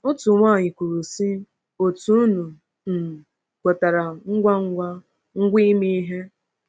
Otu nwaanyị kwuru, sị: “Otu unu um kwetara ngwa ngwa ngwa ime ihe!”